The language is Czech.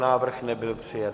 Návrh nebyl přijat.